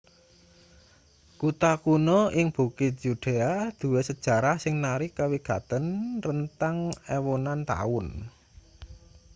kutha kuno ing bukit yudea duwe sejarah sing narik kawigaten rentang ewunan taun